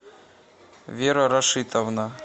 вера рашитовна